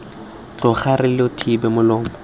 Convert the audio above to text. tloga re lo thiba molomo